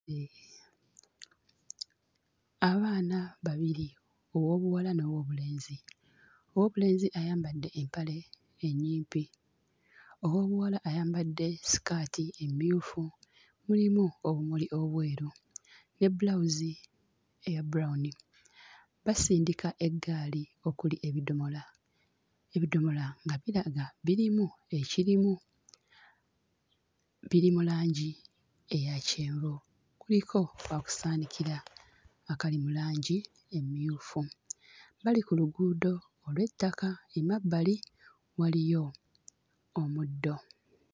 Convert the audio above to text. Abaana babiri ow'obuwala n'ow'obulenzi, ow'obulenzi ayambadde empale ennyimpi, ow'obuwala ayambadde sikaati emmyufu mulimu obumuli obweru ne bbulawuzi eya brown. Basindika eggaali okuli ebidomola, ebidomola nga biraga birimu ekirimu. Biri mu langi eyakyenvu, kuliko okusaanikira akali mu langi emmyufu. Bali ku luguudo olw'ettaka emabbali waliyo omuddo.